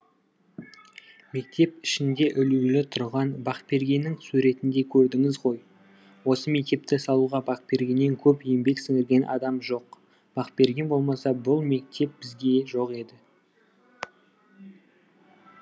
мектеп ішінде ілулі тұрған бакбергеннің суретін де көрдіңіз ғой осы мектепті салуға бакбергеннен көп еңбек сіңірген адам жоқ бакберген болмаса бұл мектеп бізге жоқ еді